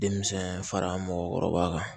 Denmisɛn fara mɔgɔkɔrɔba kan